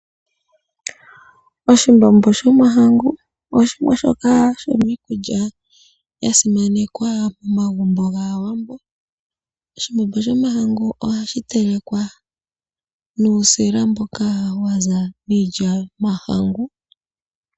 Oshimbombo shomahangu oshimwe shoka shomiikulya ya simanekwa momagumbo gAawambo. Oshimbombo shomahangu ohashi telekwa nuusila mboka wa za miilya yomahangu.